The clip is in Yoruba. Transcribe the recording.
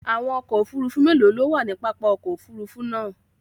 Àwọn ọkò òfúrùfú mélòó ló wà ní pápá òkò òfúrùfú náà?